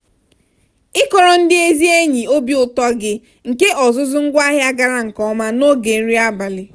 ịkọrọ ndị ezi enyi obi ụtọ gị nke ọzụzụ ngwaahịa gara nke ọma n'oge nri abalị.